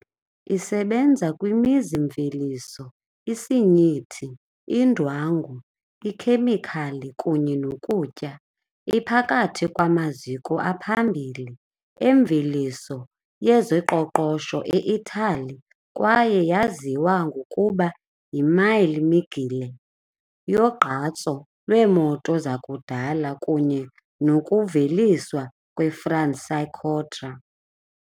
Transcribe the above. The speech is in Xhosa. Isebenza kwimizi-mveliso, isinyithi, indwangu, ikhemikhali kunye nokutya, iphakathi kwamaziko aphambili emveliso yezoqoqosho e-Itali kwaye yaziwa ngokuba yiMille Miglia yogqatso lweemoto zakudala kunye nokuveliswa kweFranciacorta .